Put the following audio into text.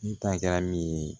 N ta kɛra min ye